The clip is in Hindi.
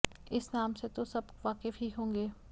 इस नाम से तो सब वाकिफ ही होंगे